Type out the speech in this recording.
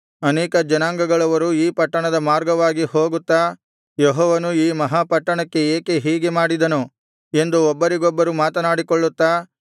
ಅನೇಕ ಜನಾಂಗಗಳವರು ಈ ಪಟ್ಟಣದ ಮಾರ್ಗವಾಗಿ ಹೋಗುತ್ತಾ ಯೆಹೋವನು ಈ ಮಹಾ ಪಟ್ಟಣಕ್ಕೆ ಏಕೆ ಹೀಗೆ ಮಾಡಿದನು ಎಂದು ಒಬ್ಬರಿಗೊಬ್ಬರು ಮಾತನಾಡಿಕೊಳ್ಳುತ್ತಾ